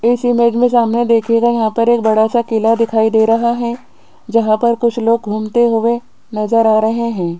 इस इमेज में सामने देखीएगा यहां पर एक बड़ा सा किला दिखाई दे रहा है जहां पर कुछ लोग घूमते हुए नजर आ रहे हैं।